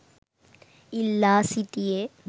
ඉල්ලා සිටියේ